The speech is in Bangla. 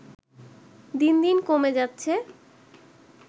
দিন দিন কমে যাচ্ছে